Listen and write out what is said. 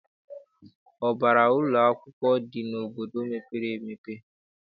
Ụbara ụlọakwụkwọ dị n'obodo mepere emepe.